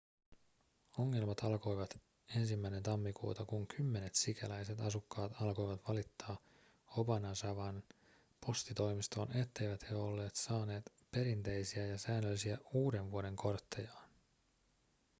ongelmat alkoivat 1 tammikuuta kun kymmenet sikäläiset asukkaat alkoivat valittaa obanazawan postitoimistoon etteivät he olleet saaneet perinteisiä ja säännöllisiä uudenvuodenkorttejaan